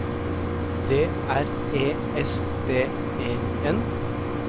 D R E S D E N